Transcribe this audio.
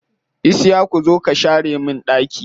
Isiyaku zo ka share min ɗaki.